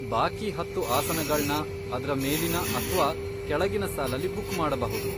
ಬಾಕಿ ಹತ್ತು ಆಸನಗಳ್ನ ಅದ್ರ ಮೇಲಿನ ಅಥ್ವಾ ಕೆಳಗಿನ ಸಾಲಲ್ಲಿ ಬುಕ್ ಮಾಡ್ಬಹುದು.